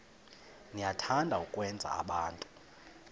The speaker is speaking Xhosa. niyathanda ukwenza abantu